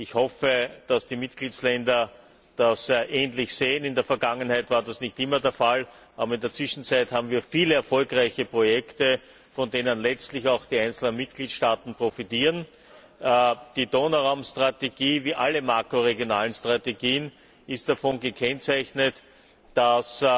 Ich hoffe, dass die Mitgliedstaaten das ähnlich sehen. In der Vergangenheit war das nicht immer der Fall, aber in der Zwischenzeit haben wir viele erfolgreiche Projekte, von denen letztlich auch die einzelnen Mitgliedstaaten profitieren. Die Donauraum Strategie wie alle makroregionalen Strategien ist davon gekennzeichnet, dass